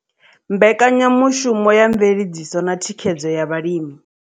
Mbekanya mushumo ya Mveledziso na Thikhedzo ya Vhalimi.